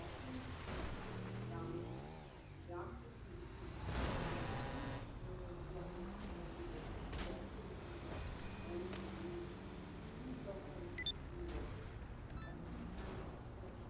যখন সে গ্রাম গ্রাম থেকে এসে duty join করেছিলো duty join করেছিলো, ওর মেয়ে পিউ তখন তিন বছরের। এখন পিউ আজকে